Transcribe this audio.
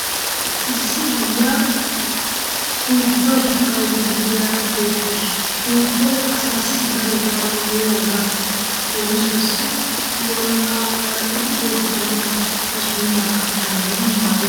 Issi aayyiya puuttuwa suqqayidda de'iyaara beettawus. Puuttuy asaassi daro go'aa immiyogan leemisuwawu worqqaa xaaxidi qottanawu, masunttaa qachchanawunne maayuwa woyikko afalaa daddanawu maaddees.